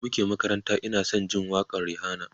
da muke makaranta Ina San Jin waƙan Rihanna